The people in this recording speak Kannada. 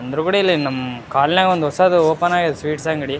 ಅಂದ್ರ ಗುಡಿಲಿ ನಮ್ ಕಾಲೋನಿ ಯಾಗ ಒಂದ್ ಹೊಸದು ಓಪನ್ ಆಗಿದೆ ಸ್ವೀಟ್ಸ್ ಅಂಗಡಿ.